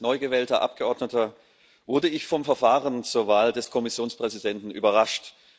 Als neu gewählter Abgeordneter wurde ich vom Verfahren zur Wahl des Kommissionspräsidenten überrascht.